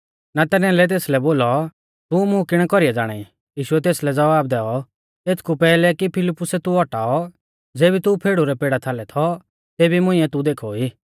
नतनएलै तेसलै बोलौ तू मुं किणै कौरीऐ ज़ाणाई यीशुऐ तेसलै ज़वाब दैऔ एथकु पैहलै कि फिलिप्पुसे तू औटाऔ ज़ेबी तू फेड़ु रै पेड़ा थालै थौ तेभी मुंइऐ तू देखौ ई